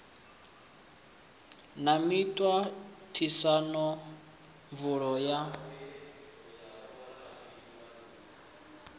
na miṱa ṱisano pfulo ya